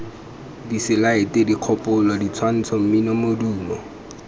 diselaete dikgopolo ditshwantsho mmino medumo